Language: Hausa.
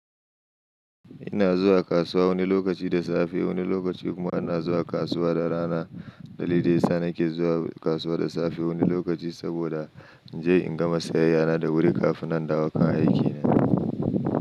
Ina zuwa kasuwa wani lokaci da safe, wani lokaci kuma ina zuwa kasuwa da rana. Dalilin yasa nake zuwa kasuwa da safe wani lokaci saboda in je in gama sayayyana da wuri kafin nan dawo kan aiki ne.